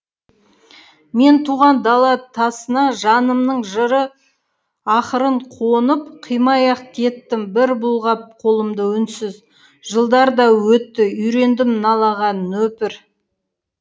мен туған дала тасына жанымның жыры ақырын қонып қимай ақ кеттім бір бұлғап қолымды үнсіз жылдар да өтті үйрендім қалаға нөпір